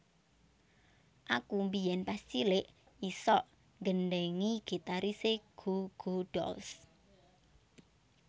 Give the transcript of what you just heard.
Aku biyen pas cilik isok nggendhengi gitarise Goo Goo Dolls